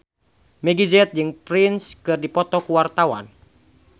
Meggie Z jeung Prince keur dipoto ku wartawan